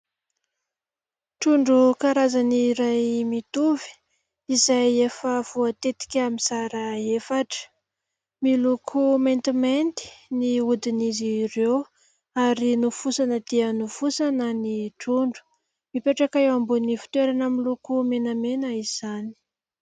Trondro karazany iray mitovy, izay efa voatetika mizara efatra. Miloko maintimainty ny hodin'izy ireo ary nofosana dia nofosana ny trondro. Mipetraka eo ambonin'ny fitoerana miloko menamena izany.